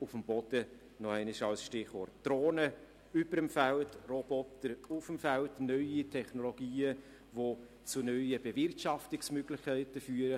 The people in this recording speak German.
«auf dem Boden» als weiteres Stichwort: Drohnen über dem Feld, Roboter auf dem Feld, neue Technologien, die zu neuen Bewirtschaftungsmöglichkeiten führen.